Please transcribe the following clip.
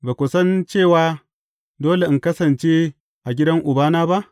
Ba ku san cewa, dole in kasance a gidan Ubana ba?